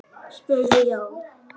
spurði Jón.